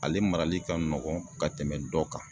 Ale marali ka nɔgɔn ka tɛmɛ dɔ kan